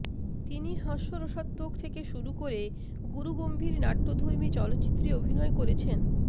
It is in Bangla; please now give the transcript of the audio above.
তিনি হাস্যরসাত্মক থেকে শুরু করে গুরুগম্ভীর নাট্যধর্মী চলচ্চিত্রে অভিনয় করেছেন